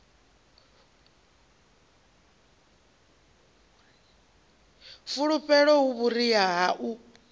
fulufhelo hu vhuria ha u